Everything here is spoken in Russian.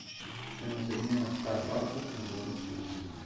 стоимость обмена ста баксов на белорусские рубли